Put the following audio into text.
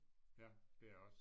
Ja det er jeg også